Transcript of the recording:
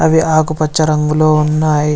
అవి ఆకుపచ్చ రంగులో ఉన్నాయి.